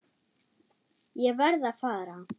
Ég verð að fara.